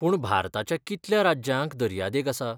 पूण भारताच्या कितल्या राज्यांक दर्यादेग आसा?